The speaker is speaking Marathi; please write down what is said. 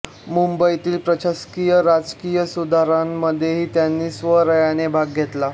मुंबईतील प्रशासकीय राजकीय सुधारणांमध्येही त्यांनी स्वारस्याने भाग घेतला